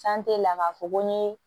la k'a fɔ ko n ye